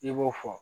I b'o fɔ